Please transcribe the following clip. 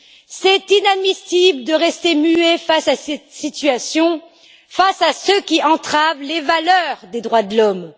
Il est inadmissible de rester muet face à cette situation, à ceux qui entravent les valeurs des droits de l'homme.